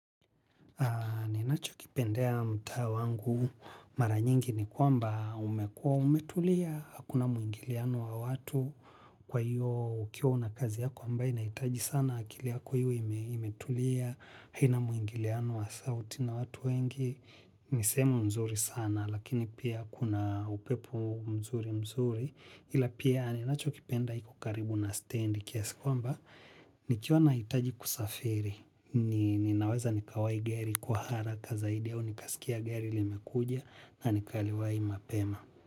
Ni nacho kipendeya mtaa wangu mara nyingi ni kwamba umekuwa umetulia, hakuna mwingiliano wa watu kwa hiyo ukiwa una kazi yako ambaye ina hitaji sana akili yako iwe imetulia, haina mwingiliano wa sauti na watu wengi, ni sehemu nzuri sana lakini pia kuna upepo mzuri mzuri ila pia ni nacho kipenda iko karibu na stendi kiasi kwamba ni kiwa nahitaji kusafiri, ninaweza nikawai gari kwa haraka zaidi au nikasikiya gari limekuja na nikaliwai mapema.